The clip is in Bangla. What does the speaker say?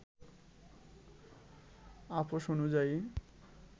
আপস অনুযায়ী